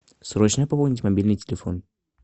срочно пополнить мобильный телефон